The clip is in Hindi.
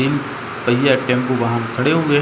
तीनपहिया टेम्पू वाहन खड़े हुए हैं।